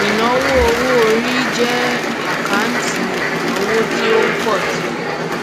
ìnáwó owóorí jẹ àkáǹtì ìnáwó tí ó ń pọ síi